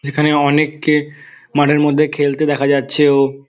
এখানে অনেক কে মাঠের মধ্যে খেলতে দেখা যাচ্ছে ও --